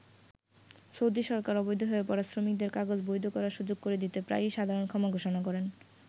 Saudi সরকার অবৈধ হয়ে পড়া শ্রমিকদের কাগজ বৈধ করার সুযোগ করে দিতে প্রায়ই সাধারণ ক্ষমা ঘোষণা করেন।